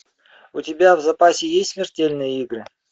у тебя в запасе есть смертельные игры